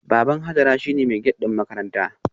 Baban Hajara shine mai gate din makaranta